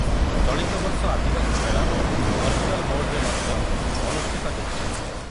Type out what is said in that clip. ଚଳିତବର୍ଷ ଆଦିବାସୀ ମେଳା ଭର୍ଚୁଆଲ ମୋଡ଼୍‌ରେ ମଧ୍ୟ ଅନୁଷ୍ଠିତ ହେଉଛି।